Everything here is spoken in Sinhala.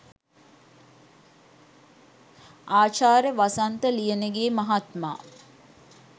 ආචාර්ය වසන්ත ලියනගේ මහත්මා